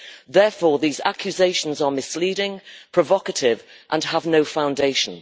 Therefore, these accusations are misleading, provocative and have no foundation.